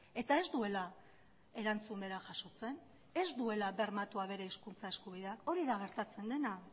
eta ez duela erantzun bera jasotzen ez duela bermatua bere hizkuntza eskubidea hori da gertatzen dena